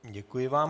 Děkuji vám.